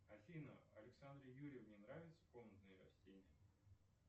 афина александре юрьевне нравятся комнатные растения